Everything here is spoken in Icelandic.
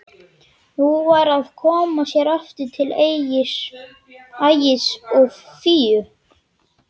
Nú var að koma sér aftur til Ægis og Fíu.